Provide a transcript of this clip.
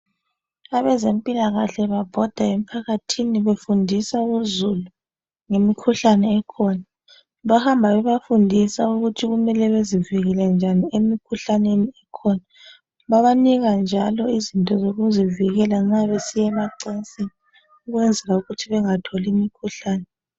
Abezempilakahle babhoda emphakathini befundisa uzulu ngemkhuhlane ekhona. Bahamba bebafundisa ukuthi kumele bezivikele njani emkhuhlaneni ekhona. Babanika njalo izinto zokuzivikela nxa besiyemacansini ukwenzelukuthi bengatholi mikhuhlani.